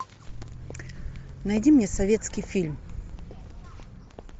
найди мне советский фильм